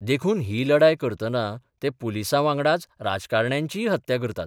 देखून ही लढाय करतना ते पुलिसांवांगडाच राजकारण्यांचीय हत्या करतात.